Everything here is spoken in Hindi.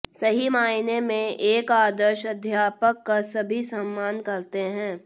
सही मायने में एक आदर्श अध्यापक का सभी सम्मान करते हैं